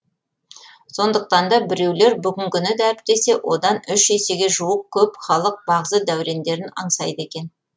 сондықтан да біреулер бүгінгіні дәріптесе одан үш есеге жуық көп халық бағзы дәурендерін аңсайды екен